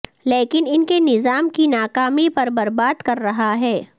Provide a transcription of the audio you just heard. لیکن ان کے نظام کی ناکامی پر برباد کر رہا ہے